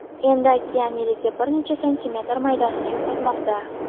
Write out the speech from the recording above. Endi okean yiliga bir necha santimetr maydonini yo‘qotmoqda.